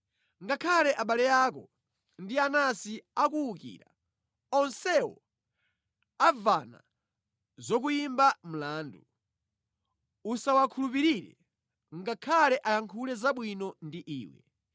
Ngakhale abale ako ndi anansi akuwukira, onsewo amvana zokuyimba mlandu. Usawakhulupirire, ngakhale ayankhule zabwino ndi iwe.